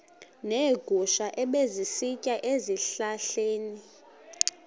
neegusha ebezisitya ezihlahleni